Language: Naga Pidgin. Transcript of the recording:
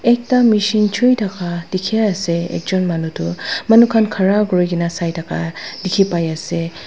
ekta machine choi thaka dekhi ase ekjon manu tu manu khan khara kori na sai thaka dekhi pai ase.